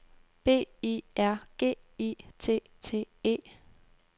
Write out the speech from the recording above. B I R G I T T E